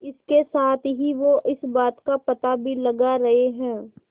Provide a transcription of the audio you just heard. इसके साथ ही वो इस बात का पता भी लगा रहे हैं